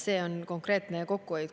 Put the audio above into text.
See on konkreetne kokkuhoid.